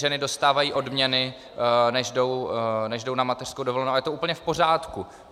Ženy dostávají odměny, než jdou na mateřskou dovolenou, a je to úplně v pořádku.